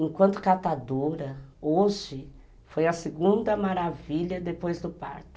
Enquanto catadora, hoje foi a segunda maravilha depois do parto.